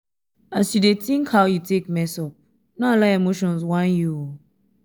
as yu dey tink how you take mess up no allow emotions whine you o